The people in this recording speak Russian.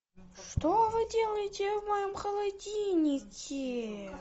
что вы делаете в моем холодильнике